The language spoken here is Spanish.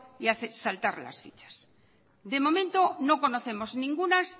y hace saltar las fichas de momento no conocemos